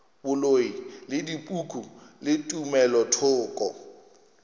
boloi le dipoko le tumelothoko